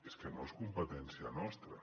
és que no és competència nostra